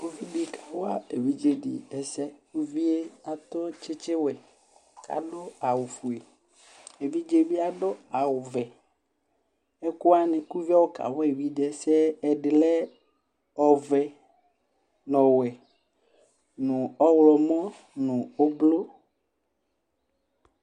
Uvi dɩ kawa evidze dɩ ɛse Uvi yɛ akɔ tsɩtsɩwɛ, adʋ awʋfue Evidze yɛ bɩ adʋ awʋvɛ Kʋ ɛkʋwanɩ kʋ uvi yɛ ayɔ kawa evidze ɛsɛ yɛ ɛdɩ lɛ ɔvɛ nʋ ɔwɛ nʋ ɔɣlɔmɔ nʋ ʋblʋ